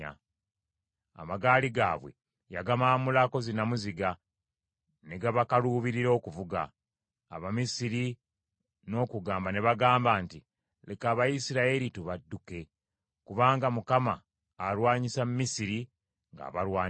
Amagaali gaabwe yagamaamulako zinnamuziga, ne gabakaluubirira okuvuga. Abamisiri n’okugamba ne bagamba nti, “Leka Abayisirayiri tubadduke! Kubanga Mukama alwanyisa Misiri ng’abalwanirira.”